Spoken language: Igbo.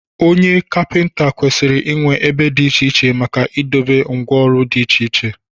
Onye Kapịnta kwesịrị inwe ebe dị iche iche maka idobe ngwá ọrụ dị iche iche